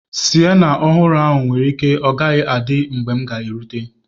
Siyana ọhụrụ ahụ nwere ike ọ gaghị adị mgbe m ga erute.